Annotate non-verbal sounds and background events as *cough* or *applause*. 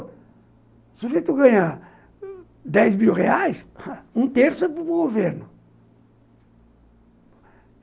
O sujeito ganha dez mil reais, *laughs* um terço é para o governo.